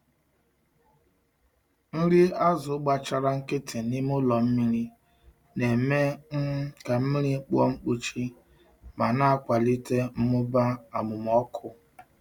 Nri azụ gbachara nkịtị n’ime ụlọ mmiri na-eme um ka mmiri kpụọ mkpuchi ma na-akwalite mmụba amụmọkụ.